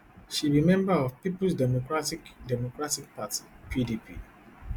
she be member of peoples democratic democratic party pdp